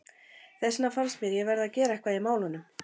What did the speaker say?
Þess vegna fannst mér ég verða að gera eitthvað í málunum.